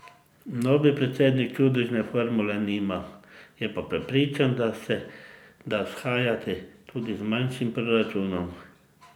Novi predsednik čudežne formule nima, je pa prepričan, da se da shajati tudi z manjšim proračunom.